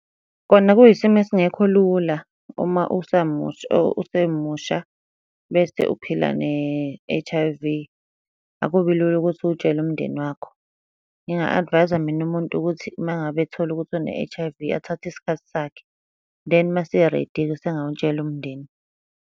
Kona kuyisimo esingekho lula, uma usamusha or usemusha, bese uphila ne-H_I_V. Akubi lula ukuthi uwutshele umndeni wakho. Nginga-advise-a mina umuntu ukuthi uma ngabe ethola ukuthi une-H_I_V, athathe isikhathi sakhe, then uma ese-ready-ke usengawutshela umndeni.